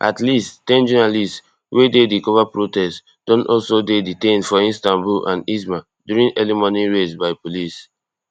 at least ten journalists wey dey di cover protests don also dey detained for istanbul and izmir during early morning raids by police